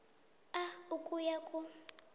a ukuya ku